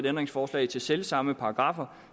ændringsforslag til selvsamme paragraffer